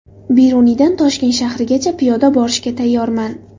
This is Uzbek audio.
Beruniydan Toshkent shahrigacha piyoda borishga tayyorman.